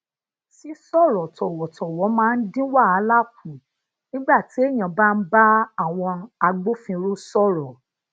sisooro towotowo máa ń dín wàhálà kù nígbà téèyàn bá ń bá àwọn agbofinro soro